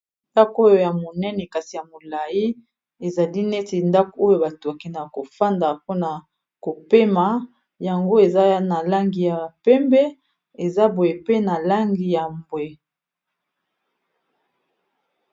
Ndako oyo ya monene kasi ya molayi ezali neti ndako oyo bato bakendeka kofanda mpona kopema yango eza na langi ya pembe eza boye pe na langi ya mbwe.